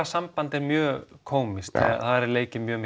samband er mjög kómískt það er er leikið mjög